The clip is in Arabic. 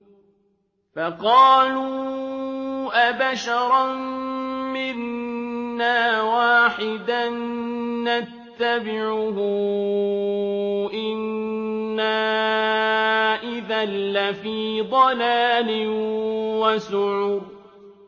فَقَالُوا أَبَشَرًا مِّنَّا وَاحِدًا نَّتَّبِعُهُ إِنَّا إِذًا لَّفِي ضَلَالٍ وَسُعُرٍ